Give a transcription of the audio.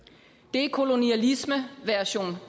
det er kolonialisme version